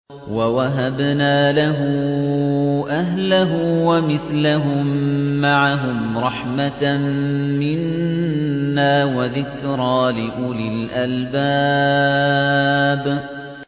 وَوَهَبْنَا لَهُ أَهْلَهُ وَمِثْلَهُم مَّعَهُمْ رَحْمَةً مِّنَّا وَذِكْرَىٰ لِأُولِي الْأَلْبَابِ